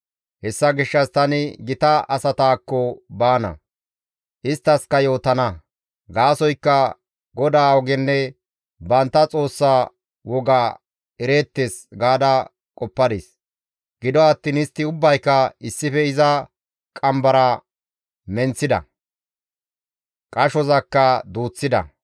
Hessa gishshas tani gita asataakko baana; isttaskka yootana; gaasoykka GODAA ogenne bantta Xoossa woga ereettes» gaada qoppadis. Gido attiin istti ubbayka issife iza qambara menththida; qashozakka duuththida.